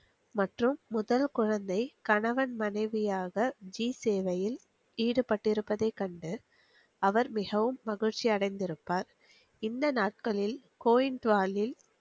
மற்றும் முதல் குழந்தை கணவன் மனைவியாக ஜி சேவையில் ஈடுபட்டிருப்பதை கண்டு அவர் மிகவும் மகிழ்ச்சி அடைந்துருப்பார் இந்த நாட்களில் கோவில் வாயில்